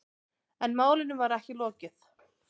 En málinu var ekki lokið.